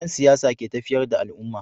Dan siyasa ke tafiyar da al'umma